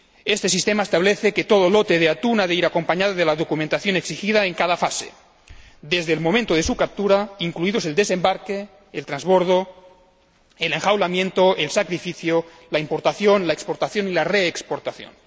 Este sistema establece que todo lote de atún ha de ir acompañado de la documentación exigida en cada fase, desde el momento de su captura, incluidos el desembarque, el transbordo, el enjaulamiento, el sacrificio, la importación, la exportación y la reexportación.